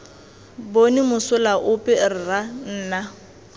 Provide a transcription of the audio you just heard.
bone mosola ope rra nna